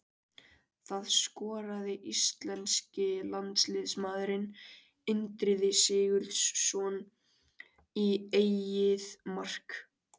Það skoraði íslenski landsliðsmaðurinn Indriði Sigurðsson í eigið mark.